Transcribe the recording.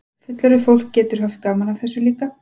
Fullorðið fólk getur haft gaman af þessu líka?